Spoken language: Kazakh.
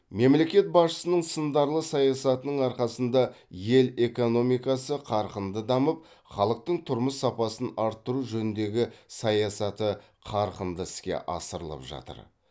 мемлекет басшысының сындарлы саясатының арқасында ел экономикасы қарқынды дамып халықтың тұрмыс сапасын арттыру жөніндегі саясаты қарқынды іске асырылып жатыр